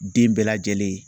Den bɛɛ lajɛlen.